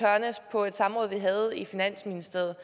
på et samråd vi havde i finansministeriet